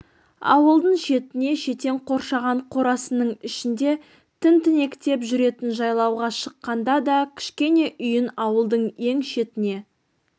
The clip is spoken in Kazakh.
ауылдың шетінде шетен қоршаған қорасының ішінде тінтінектеп жүретін жайлауға шыққанда да кішкене үйін ауылдың ең шетіне